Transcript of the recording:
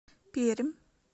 пермь